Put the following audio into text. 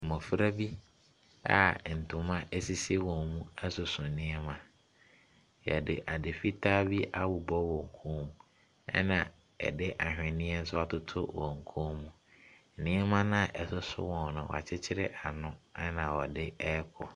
Mmofra bi a ntoma sisi wɔn mu ɛsoso nneɛma. Yɛde ade fitaa bi abobɔ wɔn mu, ɛna yɛde anhweneɛ nso atoto wɔn kɔn mu. Nneɛma a ɛsoso wɔn no wɔakyekyere ano. Ɛna wɔde ɛrekɔ.